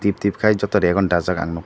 tip tip khai joto rego no dajak ang nug.